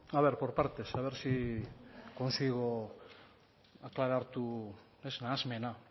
a ver por partes a ver si consigo aclarar tu nahasmena